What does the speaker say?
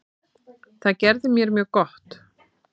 Það gerði mér mjög gott.